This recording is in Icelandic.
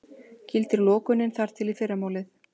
Gildir lokunin þar til í fyrramálið